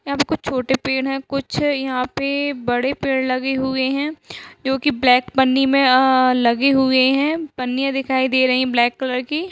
यहाँ पे कुछ छोटे पेड़ हैं। कुछ यहाँ पे बड़े पेड़ लगे हुए हैं। जो कि ब्लैक पन्नी में अ लगे हुए हैं। पन्नियां दिखाई दे रही हैं ब्लेक कलर की।